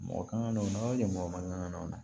Mɔgɔ kan ka na o na kɛ mɔgɔ man kan o la